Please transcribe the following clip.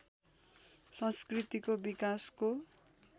संस्कृतिको विकासको